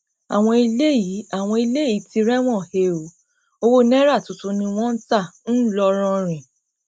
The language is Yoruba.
àwọn eléyìí àwọn eléyìí ti rẹwọn he ọ owó náírà tuntun ni wọn ń ta ńlọrọrìn